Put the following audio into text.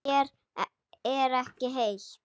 Mér er ekki heitt.